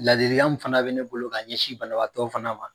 Ladilikan min fana bɛ ne bolo k'a ɲɛsin banabaatɔ fana ma